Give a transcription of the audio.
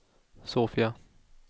Sofia